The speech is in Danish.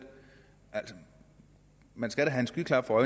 altså man skal da have skyklapper